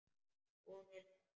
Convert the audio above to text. Hún er það.